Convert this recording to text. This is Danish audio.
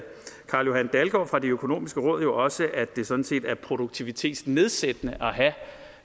carl johan dalgaard fra det økonomiske råd jo også at det sådan set er produktivitetsnedsættende